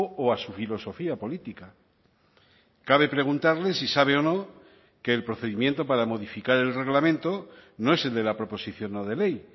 o a su filosofía política cabe preguntarle si sabe o no que el procedimiento para modificar el reglamento no es el de la proposición no de ley